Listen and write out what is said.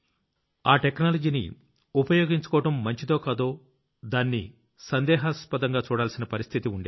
ఆ టెక్నాలజీని ఉపయోగించుకోవడం మంచిదో దాన్ని సందేహాస్పదంగా చూడాల్సిన పరిస్థితి ఉండేది